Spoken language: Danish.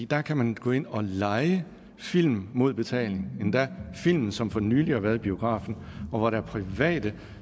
der kan man gå ind og leje film mod betaling endda film som for nylig har været i biografen og hvor der er private